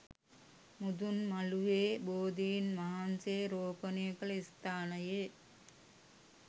මුදුන් මළුවේ බෝධින් වහන්සේ රෝපණය කළ ස්ථානයේ